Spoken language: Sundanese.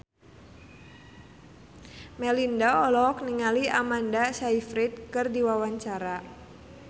Melinda olohok ningali Amanda Sayfried keur diwawancara